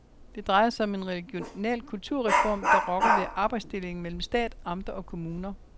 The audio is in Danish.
Det drejer sig om en regional kulturreform, der rokker ved arbejdsdelingen mellem stat, amter og kommuner.